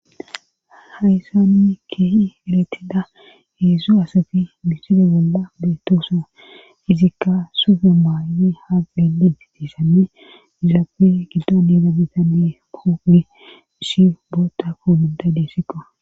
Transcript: haysanni keehi galetida heedsu asafi miside bolla beetoosa izikka sufe maayyi ha pedi tiissame izaafe giddo needa bitane popi ishi boota koombida deessiqo